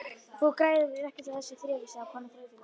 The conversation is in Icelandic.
Þú græðir ekkert á þessu þrefi- sagði konan þreytu lega.